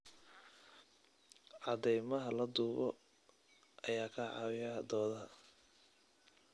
Cadeymaha la duubo ayaa ka caawiya doodaha.